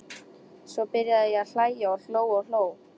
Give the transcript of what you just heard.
Svo byrjaði ég að hlæja og hló og hló.